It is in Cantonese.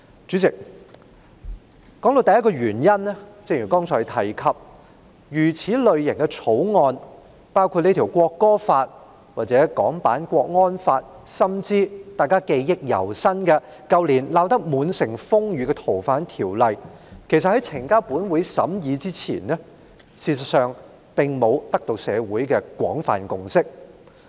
主席，我提出的第一個原因是，正如剛才提到這類型的法案，包括《條例草案》或港區國安法，甚至是大家記憶猶新、在去年鬧得滿城風雨的《逃犯條例》，其實在呈交本會審議之前，並未取得社會的廣泛共識。